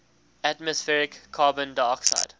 atmospheric carbon dioxide